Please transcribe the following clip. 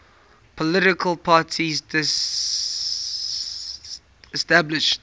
political parties disestablished